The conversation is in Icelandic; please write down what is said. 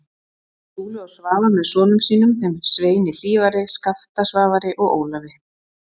Skúli og Svava með sonum sínum, þeim Sveini Hlífari, Skafta Svavari og Ólafi